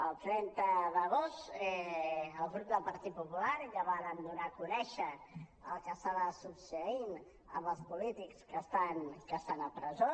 el trenta d’agost el grup del partit popular ja vàrem donar a conèixer el que estava succeint amb els polítics que estan a presó